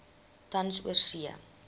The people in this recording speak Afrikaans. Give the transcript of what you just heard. tans oorsee